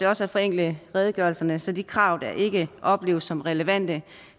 også at forenkle redegørelserne så de krav der ikke opleves som relevante